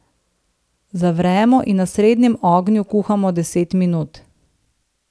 Zavremo in na srednjem ognju kuhamo deset minut.